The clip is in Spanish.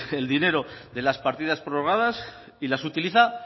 el dinero de las partidas prorrogadas y las utiliza